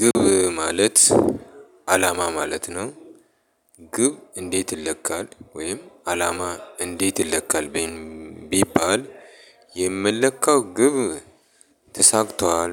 ግብ ማለት አላማ ማለት ነው። ግብ እንዴት ይለካል ወይም አላማ እንዴት ይለካል? ቢባል የምንለካው ግብ ተሳክቷል